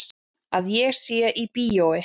Að ég sé í bíói.